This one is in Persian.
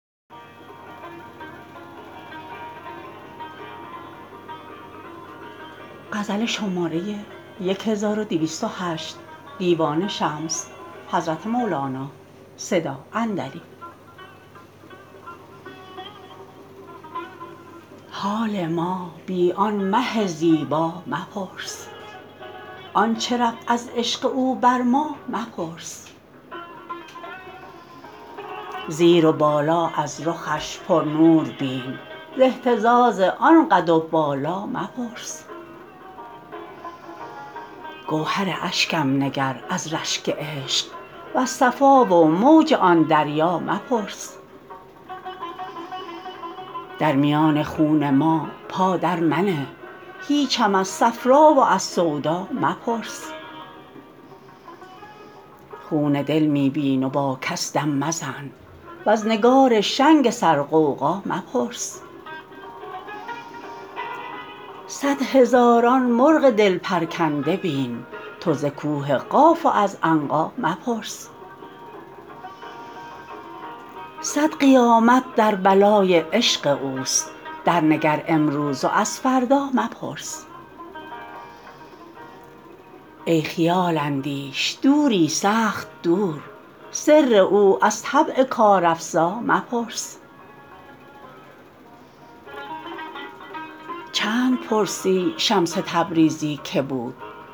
حال ما بی آن مه زیبا مپرس آنچ رفت از عشق او بر ما مپرس زیر و بالا از رخش پرنور بین ز اهتزاز آن قد و بالا مپرس گوهر اشکم نگر از رشک عشق وز صفا و موج آن دریا مپرس در میان خون ما پا درمنه هیچم از صفرا و از سودا مپرس خون دل می بین و با کس دم مزن وز نگار شنگ سرغوغا مپرس صد هزاران مرغ دل پرکنده بین تو ز کوه قاف و از عنقا مپرس صد قیامت در بلای عشق اوست درنگر امروز و از فردا مپرس ای خیال اندیش دوری سخت دور سر او از طبع کارافزا مپرس چند پرسی شمس تبریزی کی بود چشم جیحون بین و از دریا مپرس